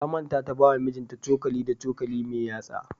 Ta manta ta bawa mijinta cokali da cokali mai yatsa.